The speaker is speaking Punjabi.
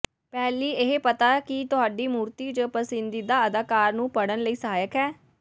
ਪਹਿਲੀ ਇਹ ਪਤਾ ਕਿ ਤੁਹਾਡੀ ਮੂਰਤੀ ਜ ਪਸੰਦੀਦਾ ਅਦਾਕਾਰ ਨੂੰ ਪੜ੍ਹਨ ਲਈ ਸਹਾਇਕ ਹੈ